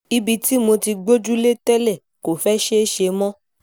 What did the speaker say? ibi tí mo ti gbójúlé tẹ́lẹ̀ kò fẹ́ẹ́ ṣeé ṣe mọ́